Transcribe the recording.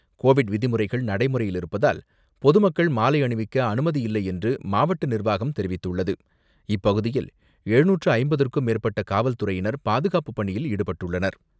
Covid விதிமுறைகள் நடைமுறையில் இருப்பதால், பொதுமக்கள் மாலை அணிவிக்க அனுமதியில்லை என்று மாவட்ட நிர்வாகம் தெரிவித்துள்ளது.